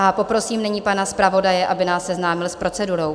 A poprosím nyní pana zpravodaje, aby nás seznámil s procedurou.